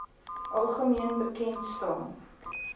algemeen bekend staan